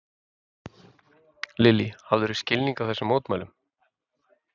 Lillý: Hafðirðu skilning á þessum mótmælum?